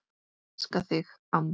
Elska þig, amma.